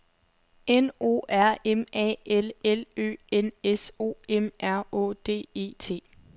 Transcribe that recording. N O R M A L L Ø N S O M R Å D E T